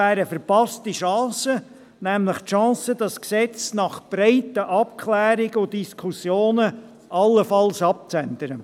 Dies wäre eine verpasste Chance – nämlich die Chance, dieses Gesetz nach breiten Abklärungen und Diskussionen allenfalls abzuändern.